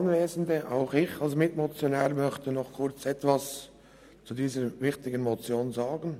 Auch ich als Mitmotionär möchte mich zu dieser wichtigen Motion äussern.